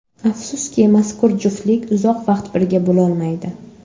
Afsuski, mazkur juftlik uzoq vaqt birga bo‘lolmaydi.